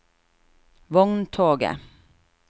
vogntoget